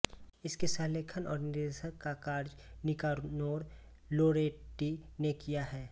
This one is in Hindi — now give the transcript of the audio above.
इसके सहलेखन और निर्देशन का कार्य निकानोर लोरेटी ने किया है